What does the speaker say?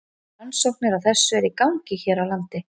Rannsóknir á þessu eru í gangi hér á landi.